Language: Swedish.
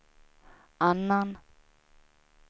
annan